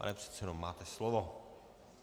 Pane předsedo, máte slovo.